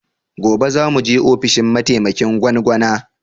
Gobe za mu je ofishin mataimakin gwangwana